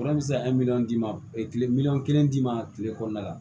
Fura bɛ se ka miliyɔn d'i ma tile miliyɔn kelen d'i ma kile kɔnɔna la